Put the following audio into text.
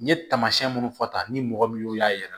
N ye taamasiyɛn minnu fɔ tan ni mɔgɔ min y'o y'a yira